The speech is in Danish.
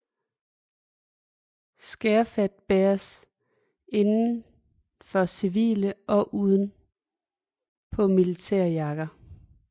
Skærfet bæres inden for civile og uden på militære jakker